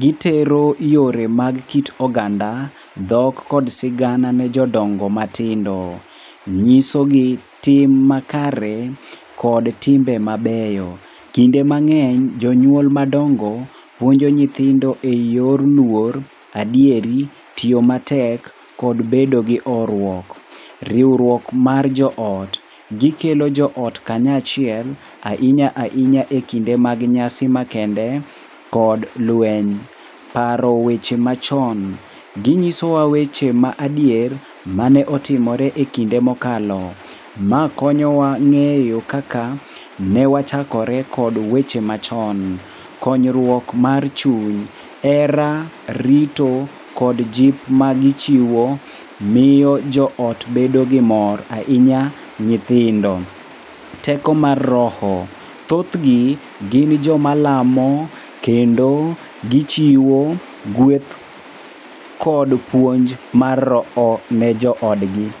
Gitero yore mag kit oganda, dhok kod sigana ne jodongo matindo, nyisogi tim makare kod timbe mabeyo. Kinde mang'eny jonyuol madongo puonjo nyithindo eyor luor, adieri, tiyo matek kod bedo gi horuok. Riwruok mar joot. Gikelo joot kanyachiel, ahinya ahinya ekinde mag nyasi makende kod lweny. Paro weche machon. Ginyisowa weche ma adier mane otimore ekinde mokalo. Ma konyowa ng'eyo kaka ne wachakore kod weche machon. Konyruok mar chuny. Hera, rito kod jip magichiwo miyo joot bedo gi mor ahinya nyihindo. Teko mar roho. Thothgi gin joma lamo kendo gichiwo gweth kod puonj mar roho ne joodgi.